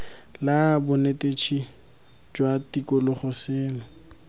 la bonetetshi jwa tikologo seno